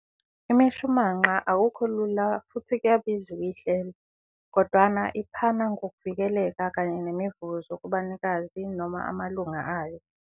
Imishumanqa akukho lula futhi kuyabiza ukuyihlela, kodwana iphana ngokuvikeleka kanye nemivuzo kubanikazi - amalunga ayo.